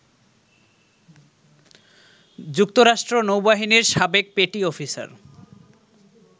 যুক্তরাষ্ট্র নৌবাহিনীর সাবেক পেটি অফিসার